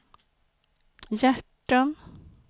Hjärtum